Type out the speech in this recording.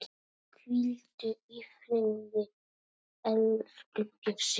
Hvíldu í friði, elsku Bjössi.